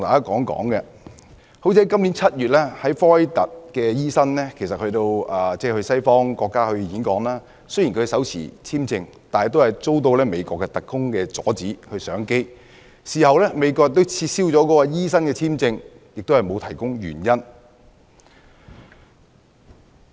今年7月 ，1 名科威特醫生前往西方國家演講，雖然他手持簽證，但他仍被美國特工阻止上機，事後美國亦撤銷了他的簽證，但並沒有提供原因。